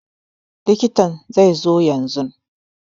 Likitan zai zo yanzun